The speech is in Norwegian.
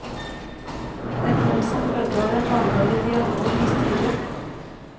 Den kom som følge av en langvarig dialog med styret.